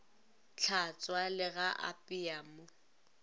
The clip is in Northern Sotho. tlhatšwa le ga apeya mo